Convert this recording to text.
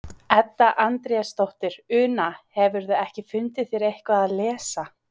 Edda Andrésdóttir: Una, hefurðu ekki fundið þér eitthvað að lesa?